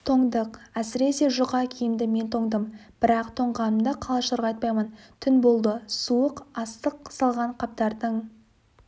тоңдық әсіресе жұқа киімді мен тоңдым бірақ тоңғанымды қалашыларға айтпаймын түн болды суық астық салған қаптардың